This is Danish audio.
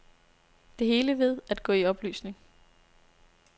Det hele ved at gå i opløsning.